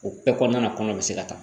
O bɛɛ kɔnɔna na kɔnɔ bɛ se ka taa